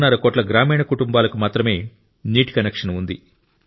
5 కోట్ల గ్రామీణ కుటుంబాలకు మాత్రమే నీటి కనెక్షన్ ఉంది